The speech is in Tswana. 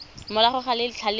morago ga letlha le le